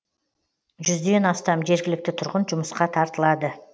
жүзден астам жергілікті тұрғын жұмысқа тартылады